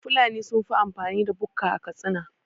Fulani sunfi amfani da bukka a Katsina